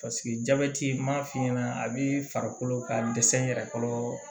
jabɛti m'a f'i ɲɛna a b'i farikolo ka dɛsɛ n yɛrɛ kɔrɔ